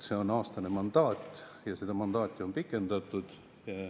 See on aastane mandaat ja seda mandaati on pikendatud.